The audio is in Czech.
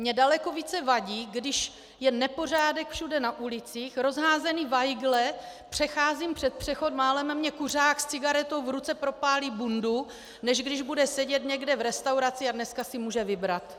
Mně daleko více vadí, když je nepořádek všude na ulicích, rozházené vajgly, přecházím přes přechod, málem mě kuřák s cigaretou v ruce propálí bundu, než když bude sedět někde v restauraci, a dneska si může vybrat.